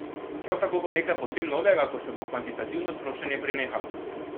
Prav tako bo nekaj povsem novega, ko se bo kvantitativno sproščanje prenehalo.